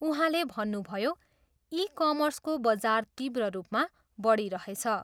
उहाँले भन्नुभयो, ई कमर्सको बजार तीव्र रूपमा बढिरहेछ।